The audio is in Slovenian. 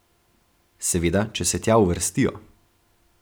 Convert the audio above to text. Seveda, če se tja uvrstijo.